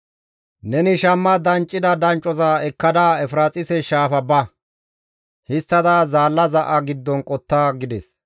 «Neni shamma danccida danccoza ekkada Efiraaxise Shaafa ba; histtada zaalla za7a giddon qotta» gides.